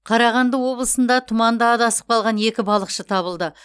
қарағанды облысында тұманда адасып қалған екі балықшы табылды